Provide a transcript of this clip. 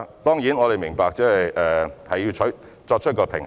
當然，我們也明白當中需要作出平衡。